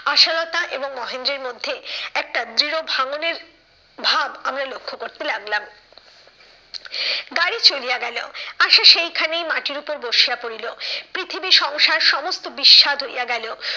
আশালতা এবংমহেন্দ্রের মধ্যে একটা দৃঢ় ভাঙ্গনের ভাব আমরা লক্ষ্য করতে লাগলাম। গাড়ি চলিয়া গেলো আশা সেইখানেই মাটির ওপর বসিয়া পড়িল। পৃথিবী সংসার সমস্ত বিস্বাদ হইয়া গেলো।